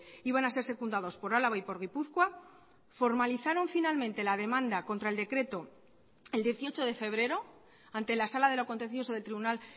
iban a ser secundados por álava y por gipuzkoa formalizaron finalmente la demanda contra el decreto el dieciocho de febrero ante la sala de lo contencioso del tribunal